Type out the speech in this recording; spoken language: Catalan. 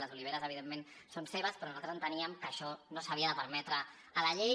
les oliveres evidentment són seves però nosaltres enteníem que això no s’havia de permetre a la llei